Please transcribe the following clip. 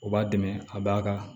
O b'a dɛmɛ a b'a ka